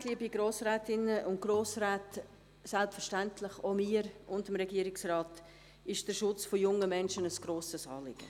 Der Schutz von jungen Menschen ist selbstverständlich, auch mir und dem Regierungsrat, ein grosses Anliegen.